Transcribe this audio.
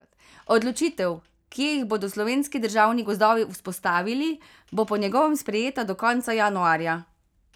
Odločitev, kje jih bodo Slovenski državni gozdovi vzpostavili, bo po njegovem sprejeta do konca januarja.